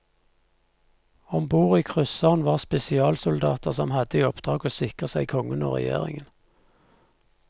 Ombord i krysseren var spesialsoldater som hadde i oppdrag å sikre seg kongen og regjeringen.